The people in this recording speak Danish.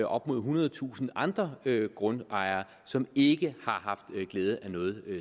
op mod ethundredetusind andre grundejere som ikke har haft glæde af noget